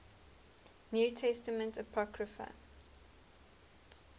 new testament apocrypha